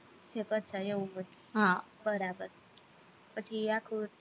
ઠેક અચ્છા એવું હોય, બરાબર પછી આખું